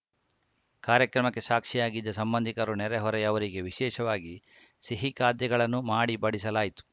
ಕಾರ್ಯಕ್ರಮಕ್ಕೆ ಸಾಕ್ಷಿಯಾಗಿದ್ದ ಸಂಬಂಧಿಕರು ನೆರೆಹೊರೆಯವರಿಗೆ ವಿಶೇಷವಾಗಿ ಸಿಹಿ ಖಾದ್ಯಗಳನ್ನು ಮಾಡಿ ಬಡಿಸಲಾಯಿತು